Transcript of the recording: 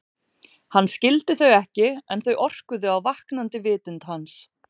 Hann skildi þau ekki en þau orkuðu á vaknandi vitund hans.